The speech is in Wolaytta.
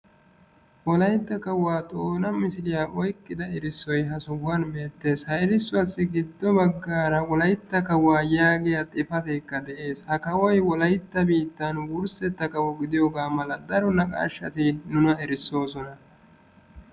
Wolaytta kaawuwaa Xoona misiliya oyqqida erissoy hagan beettees. Ha erissuwassi giddo baggaara Wolaytta kaawuwa yaagiya xifatekka de'ees. Ha kaawoy Wolaytta biittan wurssetta kaawo gidiyooga mala daro naqashshati nuna erissoosona.